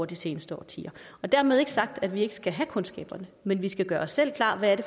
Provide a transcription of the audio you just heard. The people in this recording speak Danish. de seneste årtier dermed ikke sagt at vi ikke skal have kundskaberne men vi skal gøre os selv klart hvad det